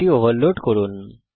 এটি ওভারলোড করুন